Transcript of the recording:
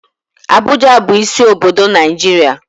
Abuja bu isi obodo Naijiria.